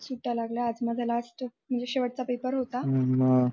सुट्या लागल्या आज माझा last म्हणजे शेवट चा पेपर होता